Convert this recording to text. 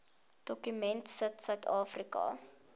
dokument sit suidafrika